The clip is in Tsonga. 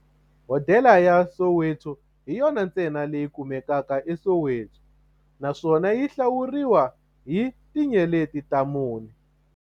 Hodela ya Soweto hi yona ntsena leyi kumekaka eSoweto, naswona yi hlawuriwa hi tinyeleti ta mune.